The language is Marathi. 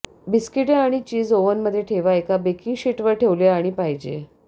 बिस्किटे आणि चीज ओव्हन मध्ये ठेवा एका बेकिंग शीट वर ठेवले आणि पाहिजे